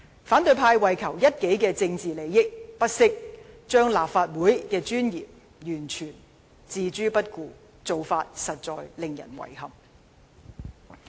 反對派為求一己政治利益，不惜將立法會的尊嚴完全置諸不顧，這做法實在令人遺憾。